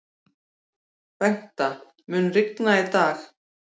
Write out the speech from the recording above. Bengta, mun rigna í dag?